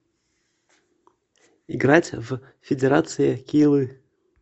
играть в федерация килы